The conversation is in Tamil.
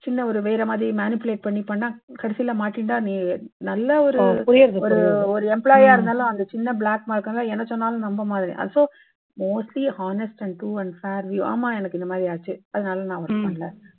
சின்ன ஒரு வேற மாறி manipulate பண்ணி பண்ணினா கடைசில மாட்டிண்டா நீ நல்ல ஒரு புரியறது employee யா அந்த ஒரு சின்ன ஒரு black mark என்ன சொன்னாலும் நம்ப மாட்டாங்க. so mostly honest, true and fair ஆமா எனக்கு அந்த மாதிரி ஆச்சு. அதனால நான் work பண்ணலை.